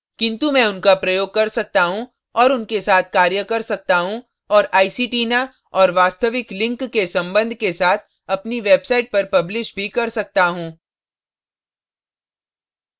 किन्तु मैं उनका प्रयोग कर सकता हूँ और उनके साथ कार्य कर सकता हूँ और iceytina और वास्तविक link के संबंध के साथ अपनी website पर publish भी कर सकता हूँ